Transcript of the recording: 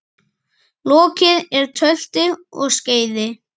Lokið er tölti og skeiði.